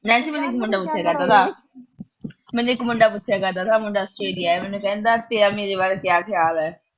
Nancy ਮੈਨੂੰ ਇਕ ਮੁੰਡਾ ਪੁੱਛਿਆ ਕਰਦਾ ਥਾ, ਮੁੰਡਾ ਪੁੱਛਿਆ ਕਰਦਾ ਥਾ, ਮੁੰਡਾ ਆਸਟ੍ਰੇਲੀਆ ਦਾ ਥਾ, ਕਹਿੰਦਾ ਤੇਰਾ ਮੇਰੇ ਬਾਰੇ ਕਿਆ ਖਿਆਲ ਐ।